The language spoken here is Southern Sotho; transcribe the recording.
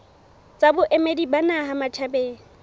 tsa boemedi ba naha matjhabeng